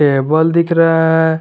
Table दिख रहा है।